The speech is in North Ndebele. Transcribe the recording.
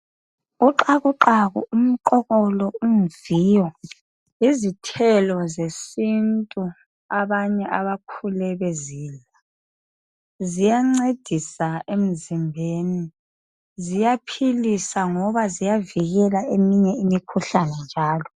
Uxakuxaku, umqokolo umviyo yizithelo zesintu abanye abakhule bezidla ziyancedisa emzimbeni ziyaphilisa ngoba ziyavikela eminye imikhuhlane njalo.